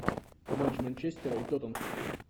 матч манчестера и тоттенхэм